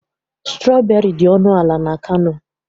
Strọberị dị ọnụ ala n'Kano.